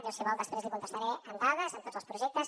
jo si vol després li contestaré amb dades amb tots els projectes